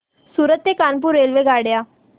सूरत ते कानपुर रेल्वेगाड्या